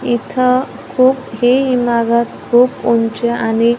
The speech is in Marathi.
इथं खूप हे इमारत खूप उंच आणि--